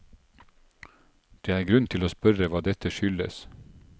Det er grunn til å spørre hva dette skyldes.